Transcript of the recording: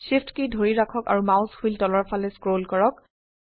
SHIFT কী ধৰি ৰাখক আৰু মাউস হুইল তলৰ ফালে স্ক্ৰল কৰক